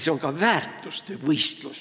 See on ka väärtuste võistlus.